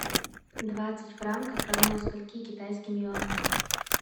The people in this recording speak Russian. двадцать франков равно скольки китайским юаням